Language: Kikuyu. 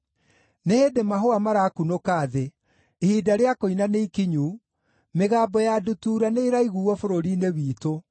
Nĩ hĩndĩ mahũa marakunũka thĩ; ihinda rĩa kũina nĩikinyu, mĩgambo ya ndutura nĩĩraiguuo bũrũri-inĩ witũ.